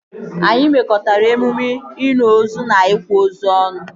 Anyị mekọtara emume ili ozu na ịkwa ozu ọnụ